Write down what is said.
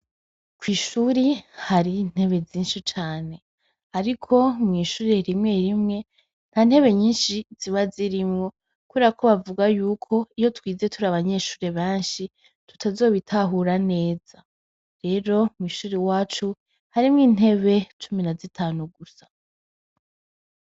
kw' ishuri hari intebe zinshi cane. Ariko mw' ishuri rimwe rimwe nta ntebe nyinshi ziba zirimwo, kubrera ko bavuga yuko iyo twize turi abanyeshure banshi tutazobitahura neza. Rero mw'ishuri wacu harimwo intebe cumi na zitanu gusa.